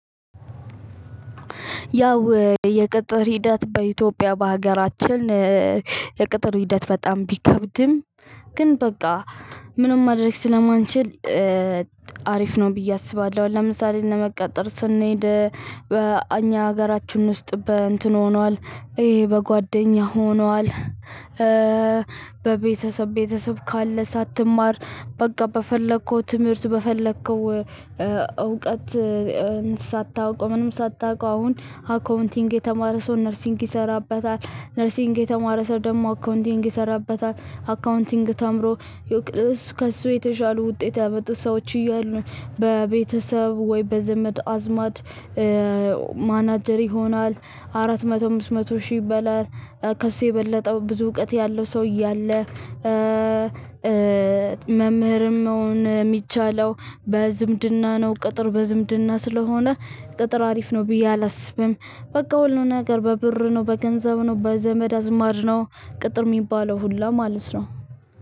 ያው የቅጥር ሂደት በኢትዮጵያ በሀገራችን የቅጥር ሂደት በጣም ቢከብድም ግን በቃ ምንም ማድረግ ስለማንችል አሪፍ ነው ብዬ አስባለሁ። ለምሳሌ ለመቀጠር ስንሄድ በእኛ ሀገራችን ውስጥ በእንትን ሆኗል ይሄ በጓደኛ ሆኗል። በቤተሰብ ቤተሰብ ካለ ሳትማር በቃ በፈለከው ትምህርት በፈለከው እውቀት። ሳታውቀው ምንም ሳታውቀው አሁን አካውንቲንግ የተማረ ሰው ነርሲንግ ይሰራበታል ነርሲንግ የተማረ ሰው ደግሞ አካውንቲንግ ይሰራበታል አካውንቲንግ ተምሮ። ከእሱ የተሻሉ ውጤት ያመጡት ሰዎች እያሉ በቤተሰብ ወይ በዘመድ አዝማድ። ማናጀር ይሆናል አራት መቶ አምስት መቶ ሺህ ይበላል። ከሱ የበለጠ ብዙ እውቀት ያለው ሰው እያለ። መምህርም መሆን የሚቻለው በዝምድና ነው ቅጥር በዝምድና ስለሆነ። ቅጥር አሪፍ ነው ብዬ አላስብም። በቃ ሁሉ ነገር በብር ነው በገንዘብ ነው በዘመድ አዝማድ ነው። ቅጥር የሚባለው ሁሉ ማለት ነው።